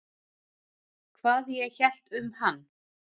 Hvað ég hélt um hann?